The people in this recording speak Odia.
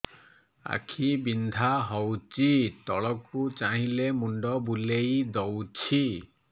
ଆଖି ବିନ୍ଧା ହଉଚି ତଳକୁ ଚାହିଁଲେ ମୁଣ୍ଡ ବୁଲେଇ ଦଉଛି